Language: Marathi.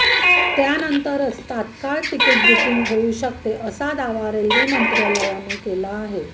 त्यानंतरच तात्काळ तिकीट बुकिंग होऊ शकते असा दावा रेल्वे मंत्रालयाने केला आहे